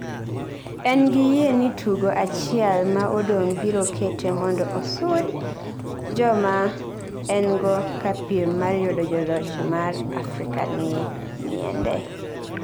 engi yie ni tugo achiel ma odong biro kete mondo osund joma engo ka piem mar yudo joloch mar Afrikanie ngiende